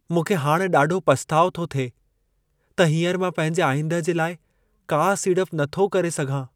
मूंखे हाणि ॾाढो पछताउ थो थिए त हींअर मां पंहिंजे आईंदह जे लाइ का सीड़प नथो करे सघां।